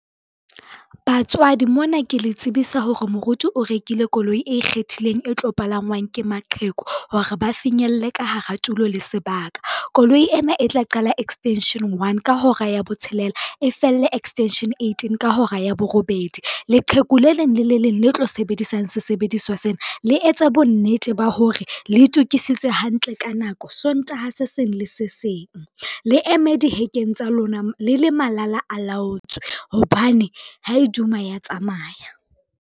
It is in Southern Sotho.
Batswadi mona ke le tsebisa hore moruti o rekile koloi e ikgethileng e tlo palangwang ke maqheku hore ba finyelle ka hara tulo le sebaka. Koloi ena e tla qala extension one ka hora ya botshelela, e felle extension eighteen ka hora ya borobedi, leqheku le leng le le leng le tlo sebedisang sesebediswa sena, le etse bonnete ba hore le itokisitse hantle ka nako Sontaha se seng le se seng. Le eme dihekeng tsa lona le malala a laotswe, hobane ha iduma ya tsamaya.